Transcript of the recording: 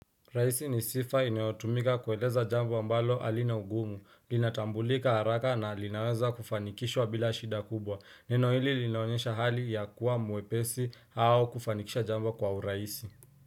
Rahisi ni sifa inayotumika kueleza jambo ambalo halina ugumu, linatambulika haraka na linaweza kufanikishwa bila shida kubwa. Neno hili linaonyesha hali ya kuwa mwepesi au kufanikisha jambo kwa urahisi.